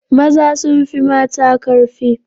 Maza sun fi mata karfi.